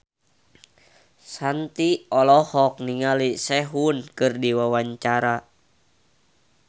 Shanti olohok ningali Sehun keur diwawancara